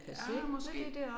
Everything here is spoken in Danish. Ja måske